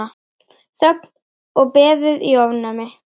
Þögn og beðið í ofvæni.